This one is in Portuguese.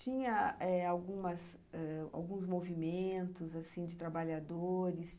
Tinha eh algumas ãh alguns assim movimentos de trabalhadores?